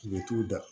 Mɛ t'u da